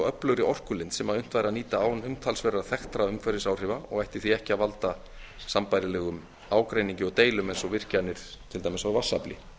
öflugri orkulind sem unnt væri að nýta án umtalsverðra þekktra umhverfisáhrifa og ætti því ekki að valda sambærilegum ágreiningi og deilum eins og virkjanir til dæmis á vatnsafli